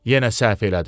Yenə səhv elədin.